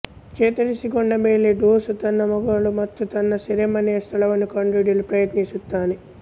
ಚೇತರಿಸಿಕೊಂಡ ಮೇಲೆ ಡೇಸೂ ತನ್ನ ಮಗಳು ಮತ್ತು ತನ್ನ ಸೆರೆಮನೆಯ ಸ್ಥಳವನ್ನು ಕಂಡುಹಿಡಿಯಲು ಪ್ರಯತ್ನಿಸುತ್ತಾನೆ